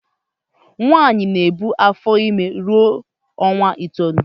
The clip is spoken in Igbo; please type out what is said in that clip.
Nwaanyi na ebu afor ime ruo onwa itoolu.